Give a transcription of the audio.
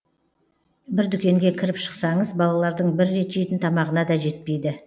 бір дүкенге кіріп шықсаңыз балалардың бір рет жейтін тамағына да жетпейді